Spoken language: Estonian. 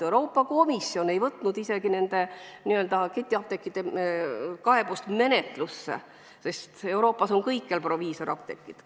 Euroopa Komisjon ei võtnud nende n-ö ketiapteekide kaebust isegi mitte menetlusse, sest Euroopas on kõikjal proviisorapteegid.